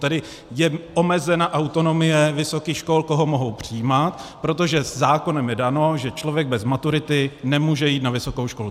Tedy je omezena autonomie vysokých škol, koho mohou přijímat, protože zákonem je dáno, že člověk bez maturity nemůže jít na vysokou školu.